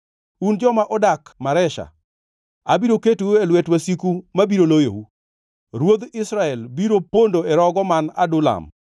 Un joma odak Maresha, abiro ketou e lwet wasiku mabiro loyou. Ruodh Israel biro pondo e rogo man Adulam.